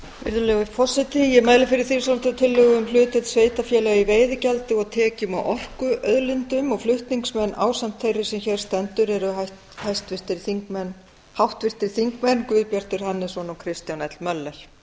virðulegur forseti ég mæli fyrir þingsályktunartillögu um hlutdeild sveitarfélaga í veiðigjaldi og tekjum af orkuauðlindum og fái ásamt þeirri sem hér stendur eru háttvirtir þingmenn guðbjartur hannesson og kristján l möller